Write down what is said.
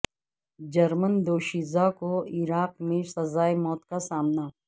German دوشیزہ کو Iraq میں سزائے موت کا سامنا